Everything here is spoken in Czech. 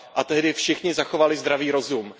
A tehdy všichni zachovali zdravý rozum.